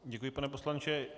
Děkuji, pane poslanče.